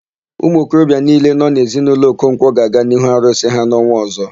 Umuokorobịa niile nọ n'ezinaụlọ Okonkwọ ga-aga n'ihu arụsị ha n'ọnwa ọ̀zọ́.